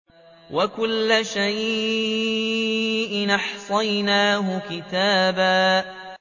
وَكُلَّ شَيْءٍ أَحْصَيْنَاهُ كِتَابًا